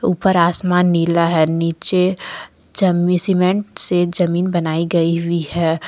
ऊपर आसमान नीला है नीचे जमी सीमेंट से जमीन बनाई गई हुई है।